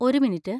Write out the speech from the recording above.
ഒരു മിനിറ്റ്.